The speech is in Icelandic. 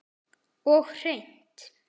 Og hreint.